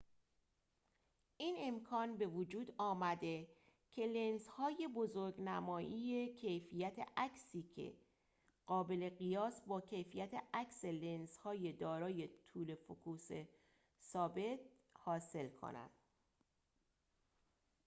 این امکان بوجود آمده که لنزهای بزرگ‌نمایی کیفیت عکسی قابل قیاس با کیفیت عکس لنزهای دارای طول فوکوس ثابت حاصل کنند